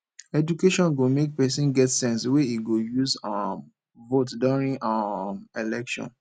education go make pesin get sense wey e go use um vote during um election